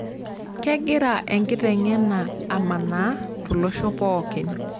Kegira enkiteng'ena amanaa tolosho pookin.